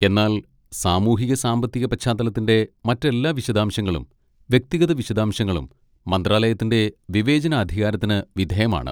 എന്നാൽ സാമൂഹിക സാമ്പത്തിക പശ്ചാത്തലത്തിന്റെ മറ്റെല്ലാ വിശദാംശങ്ങളും വ്യക്തിഗത വിശദാംശങ്ങളും മന്ത്രാലയത്തിന്റെ വിവേചനാധികാരത്തിന് വിധേയമാണ്.